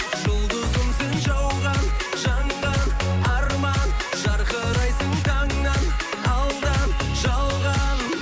жұлдызым сен жауған жанған арман жарқырайсың таңнан алдан жалған